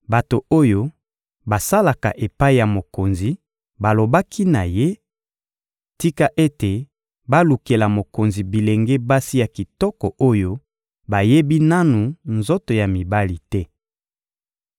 Bato oyo basalaka epai ya mokonzi balobaki na ye: — Tika ete balukela mokonzi bilenge basi ya kitoko oyo bayebi nanu nzoto ya mibali te.